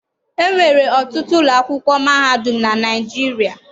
E nwere ọtụtụ ụlọ akwụkwọ mahadum na Naịjirịa.